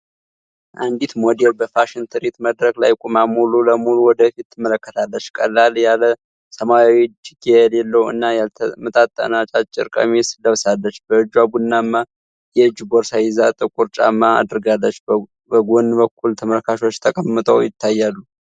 አንዲት ሞዴል በፋሽን ትርዒት መድረክ ላይ ቆማ ሙሉ ለሙሉ ወደ ፊት ትመለከታለች። ቀለል ያለ ሰማያዊ፣ እጅጌ የሌለው እና ያልተመጣጠነ አጫጭር ቀሚስ ለብሳለች። በእጇ ቡናማ የእጅ ቦርሳ ይዛ፣ ጥቁር ጫማ አድርጋለች። በጎን በኩል ተመልካቾች ተቀምጠው ይታያሉ።